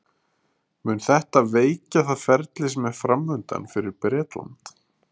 Mun þetta veikja það ferli sem er framundan fyrir Bretland?